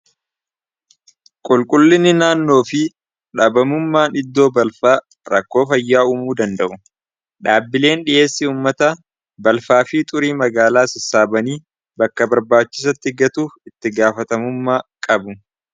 qulqullinni naannoo fi dhaabamummaa iddoo balfaa rakkoo fayyaa umuu danda'u dhaabbileen dhi'eessii ummata balfaa fii xurii magaalaa sossaabanii bakka barbaachisatti gatuu itti gaafatamummaa qabu